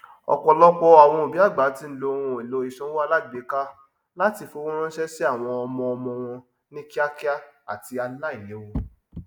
ọpọlọpọ àwon òbí àgbà tí ń lo ohunèlò ìsanwó alágbéka láti fowóránsẹ sí àwọn ọmọọmọ wọn ní kíákíá àti aláìléwu